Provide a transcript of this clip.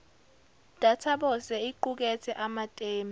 databose iqukethe amatemu